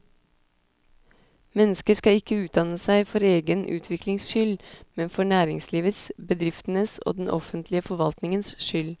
Mennesket skal ikke utdanne seg for egen utviklings skyld, men for næringslivets, bedriftenes og den offentlige forvaltningens skyld.